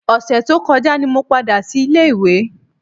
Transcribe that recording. Ọ̀sẹ̀ tó kọjá ni mo padà sílé ìwé